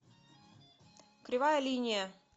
кривая линия